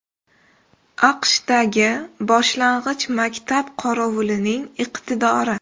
AQShdagi boshlang‘ich maktab qorovulining iqtidori.